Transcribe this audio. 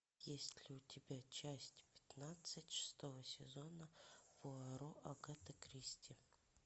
есть ли у тебя часть пятнадцать шестого сезона пуаро агаты кристи